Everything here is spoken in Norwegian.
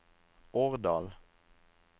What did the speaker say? Årdal